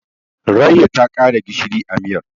Rayya ta ƙara gishiri a miyar.